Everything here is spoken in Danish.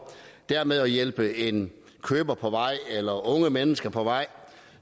dermed at hjælpe en køber på vej eller unge mennesker på vej